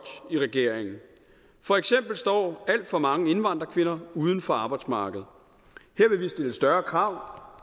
i regeringen for eksempel står alt for mange indvandrerkvinder uden for arbejdsmarkedet her vil vi stille større krav